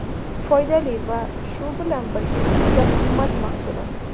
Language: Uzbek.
Foydali va shu bilan birga juda qimmat mahsulot.